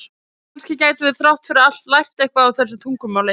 en kannski gætum við þrátt fyrir allt lært eitthvað í þessu tungumáli